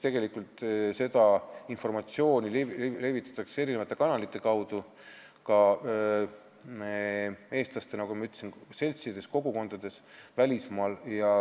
Tegelikult seda informatsiooni levitatakse eri kanalite kaudu, ka eestlaste seltsides ja kogukondades välismaal.